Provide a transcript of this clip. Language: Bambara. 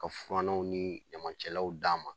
Ka furannaw nii ɲamancɛlaw d'an ma